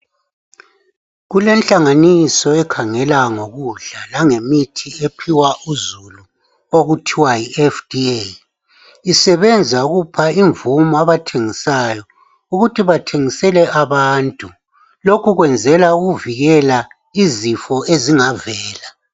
Kulenhlanganiso ekhangela ngemithi langokudla okuphiwa uzulu okuthiwa yiFDA. Isebenza ukupha imvumo abathengisayo ukuthi bathengisele abantu. Lokhu kwenzela ukuvikela izifo ezingavela.